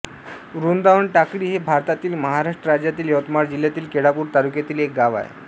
वृंदावन टाकळी हे भारतातील महाराष्ट्र राज्यातील यवतमाळ जिल्ह्यातील केळापूर तालुक्यातील एक गाव आहे